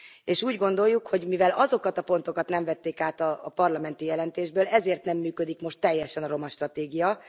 És úgy gondoljuk, hogy mivel azokat a pontokat nem vették át a parlamenti jelentésből, ezért nem működik most teljesen a romastratégia.